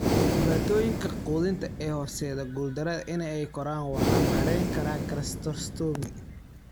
Dhibaatooyinka quudinta ee horseedda guuldarada in ay koraan waxaa maareyn kara gastrostomy.